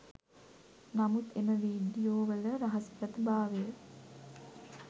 නමුත් එම වීඩියෝ වල රහසිගත භාවය